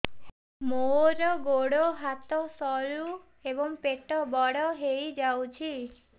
ମୋର ଗୋଡ ହାତ ସରୁ ଏବଂ ପେଟ ବଡ଼ ହୋଇଯାଇଛି